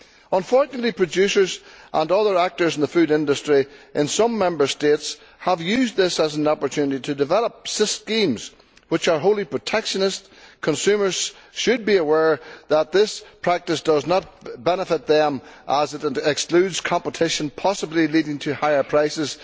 Unfortunately producers and other actors in the food industry in some Member States have used this as an opportunity to develop schemes which are wholly protectionist. Consumers should be aware that this practice does not benefit them as it excludes competition, possibly leading to higher prices.